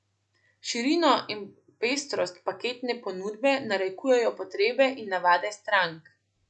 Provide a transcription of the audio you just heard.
Širino in pestrost paketne ponudbe narekujejo potrebe in navade strank.